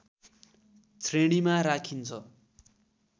श्रेणीमा राखिन्छ